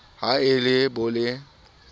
ha e le bo le